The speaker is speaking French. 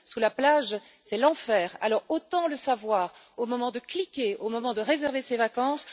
Sous la plage, c'est l'enfer! Alors, autant le savoir au moment de cliquer et de réserver ses vacances.